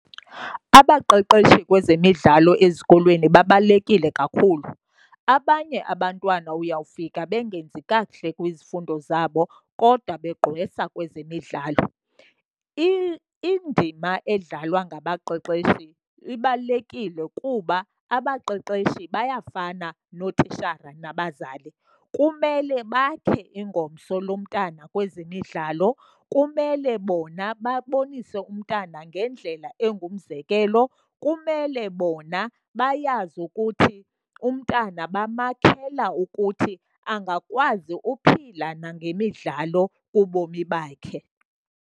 Abaqeqeshi kwezemidlalo ezikolweni babalulekile kakhulu. Abanye abantwana uyawufika bengenzi kakuhle kwizifundo zabo kodwa begqwesa kwezemidlalo. Indima edlalwa ngabaqeqeshi ibalulekile kuba abaqeqeshi bayafana notishara nabazali. Kumele bakhe ingomso lomntana kwezemidlalo, kumele bona babonise umntana ngendlela engumzekelo, kumele bona bayazi ukuthi umntana bamakhela ukuthi angakwazi uphila ngemidlalo kubomi bakhe.